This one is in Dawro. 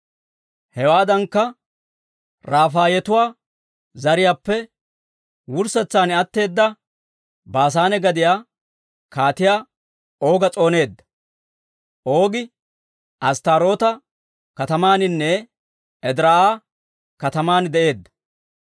Hewaadankka, Rafaayetuwaa zariyaappe wurssetsan atteeda Baasaane gadiyaa Kaatiyaa Ooga s'ooneedda. Oogi Asttaaroota katamaaninne Ediraa'a kataman de'eedda.